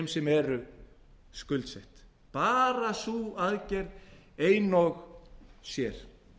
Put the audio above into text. sem eru skuldsett bara sú aðgerð ein og sér